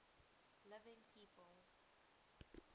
living people